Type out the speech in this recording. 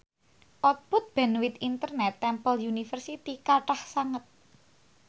output bandwith internet Temple University kathah sanget